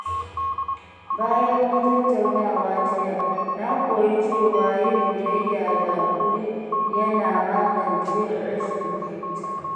Bayan wata tattaunawa jiya, na koyi cewa yin biyayya da haƙuri yana magance rashin fahimta.